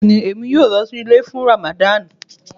Bẹ̀ẹ̀ni, emi yọ̀ọ̀ lọ sí ilẹ̀ fún Ràmádán